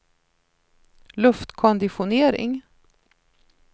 luftkonditionering